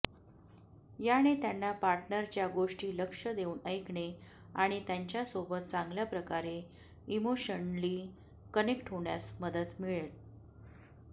याने त्यांना पार्टनरच्या गोष्टी लक्ष देऊन ऐकणे आणि त्यांच्यासोबत चांगल्याप्रकारे इमोशनली कनेक्ट होण्यास मदत मिळते